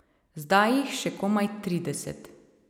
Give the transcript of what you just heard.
Zdaj jih še komaj trideset.